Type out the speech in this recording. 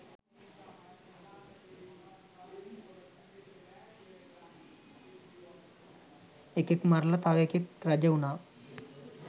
එකෙක් මරලා තව එකෙක් රජවුනා